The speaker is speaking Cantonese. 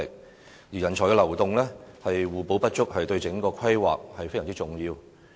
各地之間的人才流動能夠互補不足，對整個規劃非常重要。